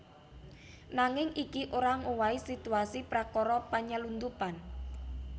Nanging iki ora ngowahi situasi prakara panylundhupan